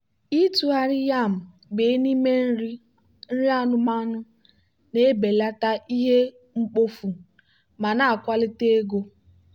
ịtụgharị yam bee n'ime nri anụmanụ na-ebelata ihe mkpofu ma na-akwalite ego.